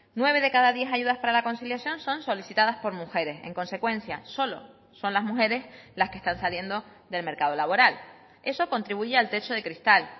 nueve de cada diez ayudas para la conciliación son solicitadas por mujeres en consecuencia solo son las mujeres las que están saliendo del mercado laboral eso contribuye al techo de cristal